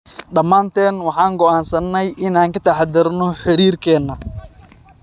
Dhammaanteen waxaan go'aansannay inaan ka taxaddarno xiriirkeenna.